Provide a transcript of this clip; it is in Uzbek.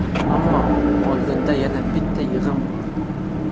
Ammo oldinda yana bitta yig‘in bor.